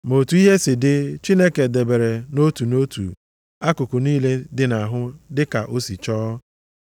Ma otu ihe si dị, Chineke debere nʼotu nʼotu akụkụ niile dị nʼahụ dịka o si chọọ.